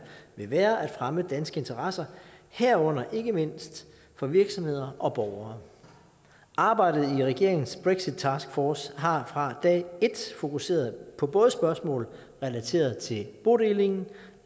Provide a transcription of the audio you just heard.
vil være at fremme danske interesser herunder ikke mindst for virksomheder og borgere arbejdet i regeringens brexit taskforce har fra dag et fokuseret på både spørgsmål relateret til bodelingen